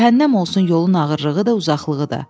Cəhənnəm olsun yolun ağırlığı da, uzaqlığı da.